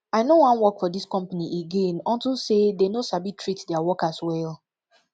i no wan work for dis company again unto say dey no sabi treat their workers well